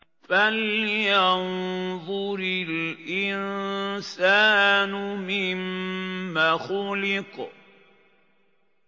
فَلْيَنظُرِ الْإِنسَانُ مِمَّ خُلِقَ